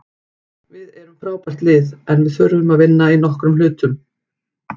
Við erum frábært lið, en við þurfum að vinna í nokkrum hlutum,